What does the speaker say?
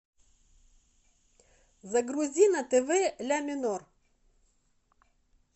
загрузи на тв ля минор